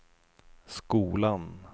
skolan